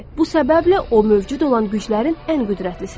Bu səbəblə o mövcud olan güclərin ən qüdrətlisidir.